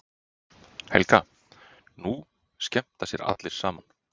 Helga: Nú skemmta sér allir saman?